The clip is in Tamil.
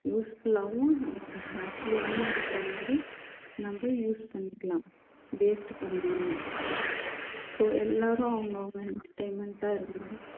useful ஆவும் நமக்கு happy ஆவும் இருக்கிற மாதிரி நம்ம use பண்ணிக்கலாம் waste பண்ணாம so எல்லாரும் அவங்கவங்க entertainment ஆ இருங்க